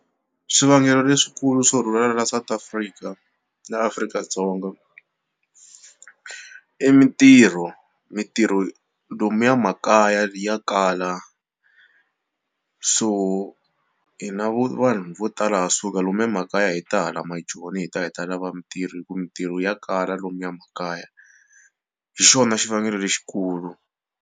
Swivangelo leswikulu swo rhurhela la South Africa la Afrika-Dzonga i mitirho mitirho lomuya makaya ya kala so hina vo vanhu vo tala ha suka lomuya makaya hi ta hala maJoni hi ta hi ta lava mitirho hi ku mitirho ya kala lomuya makaya hi xona xivangelo lexikulu.